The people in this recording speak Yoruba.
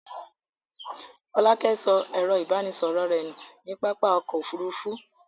Fọlákẹ́ sọ ẹ̀rọ-ìbánisọ̀rọ̀ rẹ̀ nù ní pápá ọkọ̀-òfurufú?